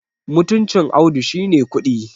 mutuncin Audu shi ne kuɗi